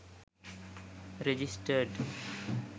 registered